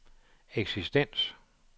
eksistens